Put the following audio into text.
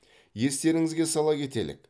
естеріңізге сала кетелік